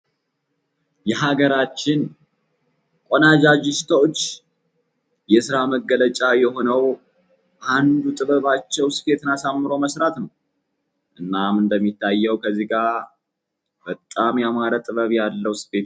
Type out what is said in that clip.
የሀገራችን ቆነጃጅቶች የስራ መገለጫ የሆነው አንዱ ጥበባቸው ስፌትን አሳምሮ መስራት ነው። እናም እንደሚታየ ከዚህ ጋ በጣም ጥበብ ያለው ስፌት ነው።